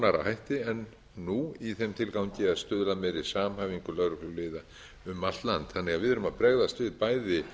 nánari hætti en nú í þeim tilgangi að stuðla að meiri samhæfingu lögregluliða um allt land þannig að við erum að bregðast við bæði